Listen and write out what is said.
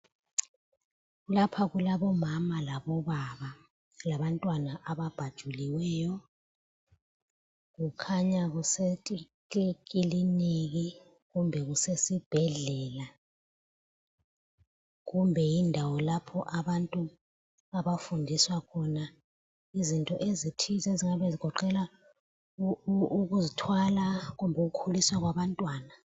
Lapha kulabomana labobaba labantwana ababhajuliweyo. Kukhanya kuse kilinika kumbe kusesibhedlela, kumbe yindawo lapho abantu abafundiswa khona izinto ezithize ezingabe zigoqela ukuzithwala kumbe ukukhuliswa kwabantwana.